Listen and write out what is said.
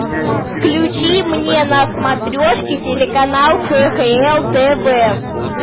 включи мне на смотрешке телеканал кхл тв